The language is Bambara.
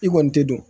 I kɔni tɛ don